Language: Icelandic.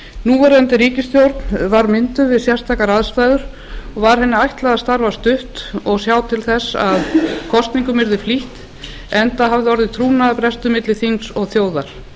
núverandi ríkisstjórn var mynduð við sérstakar aðstæður og var henni ætlað að starfa stutt og sjá til þess að kosningum verði flýtt enda hafði orðið trúnaðarbrestur milli þings og þjóðar